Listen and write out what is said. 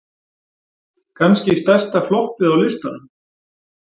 Kannski stærsta floppið á listanum?